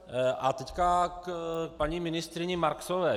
A teď k paní ministryni Marksové.